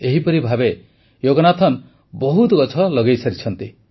ଏହିପରି ଭାବେ ଯୋଗନାଥନ ବହୁତ ଗଛ ଲଗାଇସାରିଛନ୍ତି